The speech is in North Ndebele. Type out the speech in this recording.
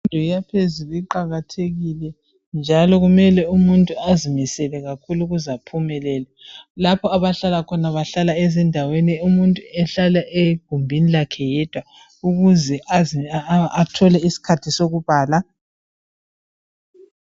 imfundo yaphezulu iqakathekile njalo kumele umuntu azimisele kakhulu ukuze aphumelele lapha abahlala khona bahlala ezindaweni umuntu ahlale egumbini lakhe yedwa ukuze aphumelele